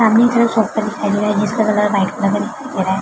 सामने की तरफ सोफ़ा दिखाई दे रहा है जिसका कलर व्हाइट कलर का दिखाई दे रहा है।